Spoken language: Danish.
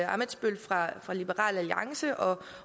ammitzbøll fra liberal alliance og